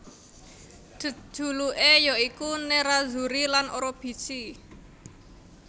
Jejuluké ya iku Nerrazzuri lan Orobici